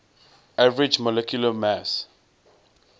average molecular mass